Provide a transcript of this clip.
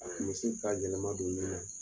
misi ka yɛlɛma don